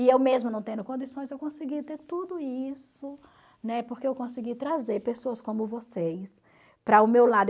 E eu mesma não tendo condições, eu consegui ter tudo isso, né, porque eu consegui trazer pessoas como vocês para o meu lado.